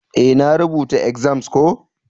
Eh, na rubuta exams ko.